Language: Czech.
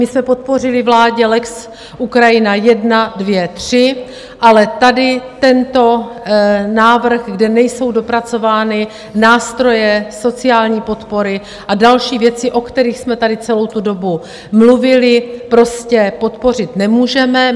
My jsme podpořili vládě lex Ukrajina I, II, III, ale tady tento návrh, kde nejsou dopracovány nástroje sociální podpory a další věci, o kterých jsme tady celou tu dobu mluvili, prostě podpořit nemůžeme.